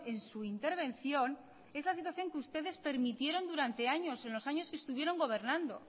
en su intervención esa situación que ustedes permitieron durante años en los años que estuvieron gobernando